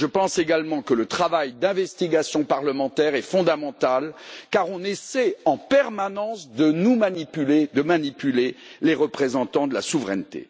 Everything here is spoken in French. Je pense également que le travail d'investigation parlementaire est fondamental, car on essaie en permanence de nous manipuler, de manipuler les représentants de la souveraineté.